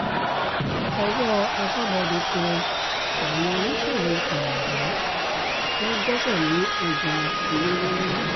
owó aṣọ́bodè tẹ àwọn oníṣòwò fàyàwọ́ wọn gbéṣẹ́ lé ọjà olówó ńlá